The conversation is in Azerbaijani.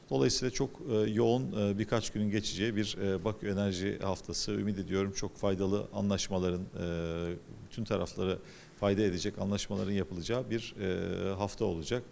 Beləliklə, çox eee sıx bir neçə günün keçəcəyi bir eee Bakı Enerji Həftəsi, ümid edirəm çox faydalı razılaşmaların eee bütün tərəflərə fayda edəcək razılaşmaların ediləcəyi bir eee həftə olacaq.